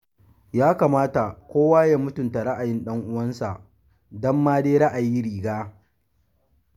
Ya kamata kowa ya mutunta ra'ayin ɗan'uwansa: dan ma dai ra'ayi riga.